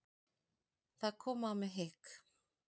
Það kom á mig hik.